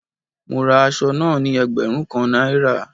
Mo ra asọ náà ní ẹgbẹ̀rún kan Náírà